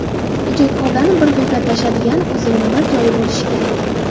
Ijodkorlarni bir g‘iybatlashadigan, o‘zining bir joyi bo‘lishi kerak.